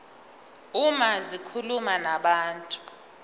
uma zikhuluma nabantu